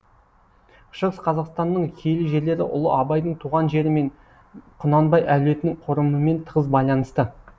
шығыс қазақстанның киелі жерлері ұлы абайдың туған жері мен құнанбай әулетінің қорымымен тығыз байланысты